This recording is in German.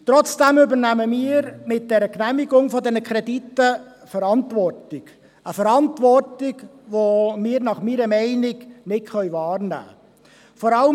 Trotzdem übernehmen wir mit der Genehmigung dieser Kredite eine Verantwortung – eine Verantwortung, welche wir meiner Meinung nach nicht wahrnehmen können.